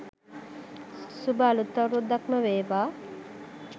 සුභ අලුත් අවුරුද්දක්ම වේවා